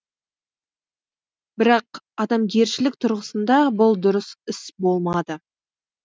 бірақ адамгершілік тұрғысында бұл дұрыс іс болмады